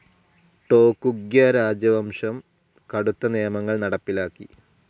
ടോക്കുഗ്വ രാജ്യവംശം കടുത്ത നിയമങ്ങൾ നടപ്പിലാക്കി.